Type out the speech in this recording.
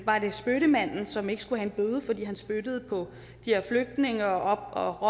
var det spyttemanden som ikke skulle have en bøde fordi han spyttede på de her flygtninge og